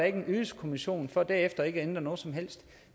ikke en ydelseskommission for derefter ikke at ændre noget som helst